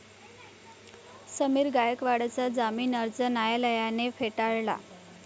समीर गायकवाडचा जामीन अर्ज न्यायालयाने फेटाळला